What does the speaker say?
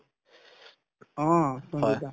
অ, তুমি কি কৰিছা ?